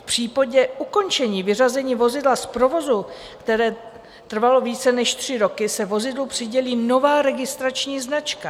V případě ukončení vyřazení vozidla z provozu, které trvalo více než tři roky, se vozidlu přidělí nová registrační značka.